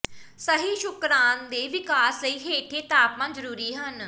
ਸਹੀ ਸ਼ੁਕਰਾਣ ਦੇ ਵਿਕਾਸ ਲਈ ਹੇਠਲੇ ਤਾਪਮਾਨ ਜ਼ਰੂਰੀ ਹਨ